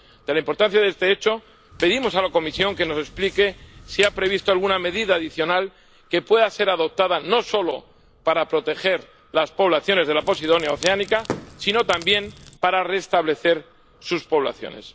Dada la importancia de este hecho, pedimos a la Comisión que nos explique si ha previsto alguna medida adicional que pueda ser adoptada, no solo para proteger las poblaciones de la Posidonia oceanica sino también para restablecer sus poblaciones.